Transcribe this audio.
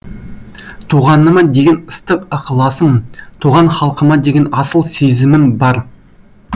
туғаныма деген ыстық ықыласым туған халқыма деген асыл сезімім бар